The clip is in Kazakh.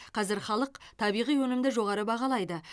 қазір халық табиғи өнімді жоғары бағалайды